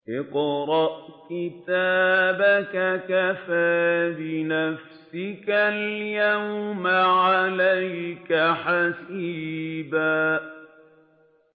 اقْرَأْ كِتَابَكَ كَفَىٰ بِنَفْسِكَ الْيَوْمَ عَلَيْكَ حَسِيبًا